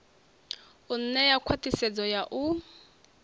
u ṋea khwathisedzo ya u